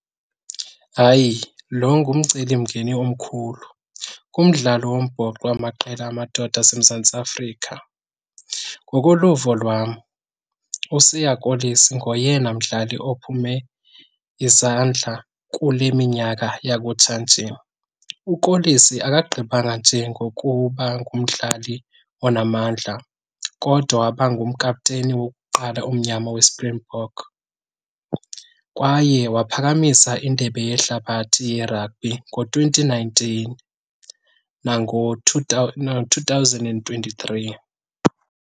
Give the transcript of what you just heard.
Hayi, lo ngumcelimngeni omkhulu kumdlalo wombhoxo yamaqela amadoda aseMzantsi Afrika. Ngokoluvo lwam uSiya Kolisi ngoyena mdlali ophume izandla kule minyaka yakutshanje. UKolisi akagqibanga nje ngokuba ngumdlali onamandla kodwa waba ngumkapteni wokuqala omnyama weSpringbok kwaye waphakamisa indebe yehlabathi yerabhi ngo-twenty nineteen nango-two two thousand and twenty-three.